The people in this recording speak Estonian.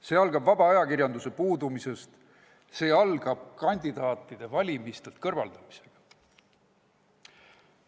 See algab vaba ajakirjanduse puudumisest, see algab kandidaatide valimistelt kõrvaldamisega.